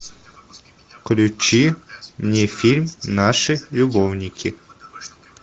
включи мне фильм наши любовники